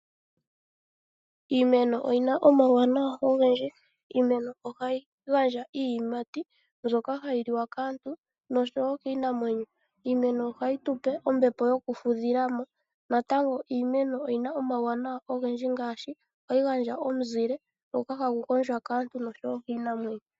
Iimeno oyi na omauwanawa ogendji. Iimeno ohayi gandja iiyimati mbyoka hayi liwa kaantu nosho wo kiinamwenyo. Iimeno ohayi tu pe ombepo yokufudhila mo. Natango iimeno oyi na omawuwanawa ogendji ngaashi ohayi gandja omuzile ngoka hagu gondjwa kaantu nosho wo kiinamwenyo.